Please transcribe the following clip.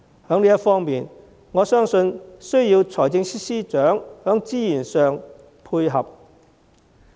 在這方面，我相信需要財政司司長在資源上配合。